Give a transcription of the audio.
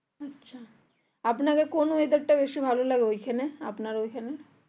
আচ্ছা আপনার কোন weather টা বেশি ভালো লাগে ঐখানে আপনার ওই খানে?